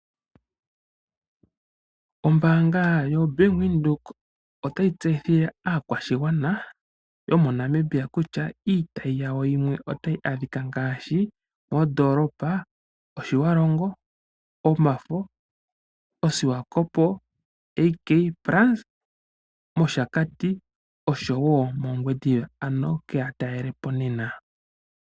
Ombaanga yaBank Windhoek otayi tseyithile aakwashigwana yomoNamibia kutya iitayi yawo yimwe otayi adhika ngaashi moondoolopa ndhi: Otjiwarongo, Oshifo, Swakopmund AK Plaza, Oshakati, noshowo moOngwediva ano keya talele po nena.